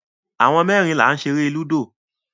Àwọn mẹ́rin là ń ṣeré lúdò.